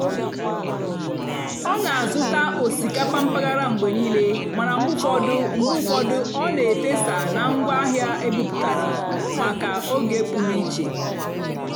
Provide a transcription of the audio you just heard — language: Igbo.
ọ́ nà-àzụ́tá ósìkápà mpàgàrà mgbe níìlé màná mgbe ụ́fọ̀dụ́ mgbe ụ́fọ̀dụ́ ọ́ nà-èfèsá nà ngwáàhịá ébúbátárá màkà ógè pụ́rụ́ íché.